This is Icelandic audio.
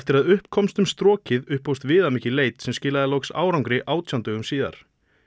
að upp komst um strokið upphófst viðamikil leit sem skilaði loks árangri átján dögum síðar